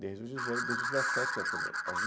Desde os dezoito, desde os dezessete anos, quer dizer, aos de